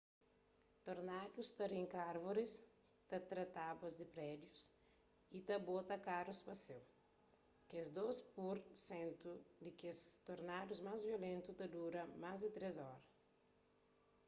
tornadus ta rinka árvoris ta tra tábuas di prédius y ta bota karus pa séu kes dôs pur sentu di kes tornadus más violentu ta dura más di três oras